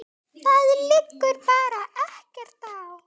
Það liggur bara ekkert á.